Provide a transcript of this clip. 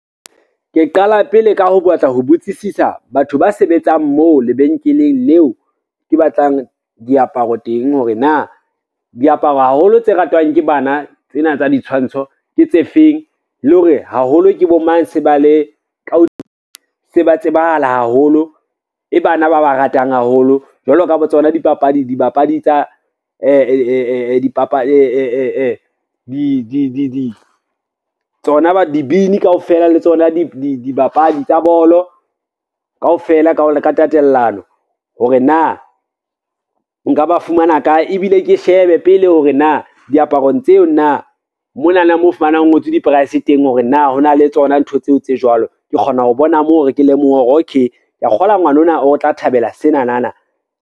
Ke qala pele ka ho batla ho botsisisa batho ba sebetsang moo lebenkeleng leo ke batlang diaparo teng, hore na diaparo haholo tse ratwang ke bana tsena tsa ditshwantsho ke tse feng le hore haholo ke bo mang se ba tsebahala haholo, e bana ba ba ratang haholo, jwalo ka bo tsona. Dibini kaofela le tsona dibapadi tsa bolo kaofela ka tatellano hore na nka ba fumana kae, ebile ke shebe pele hore na diaparong tseo na monana moo o fumanang ho ngotswe di-price teng hore na, ho na le tsona ntho tseo tse jwalo. Ke kgona ho bona moo re ke lemohe hore okay ke a kgolwa ngwanona o tla thabela senanana.